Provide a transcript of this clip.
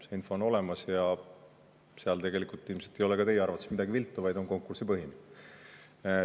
See info on olemas ja seal tegelikult ilmselt ka teie arvates ei ole midagi viltu, vaid see on konkursipõhine.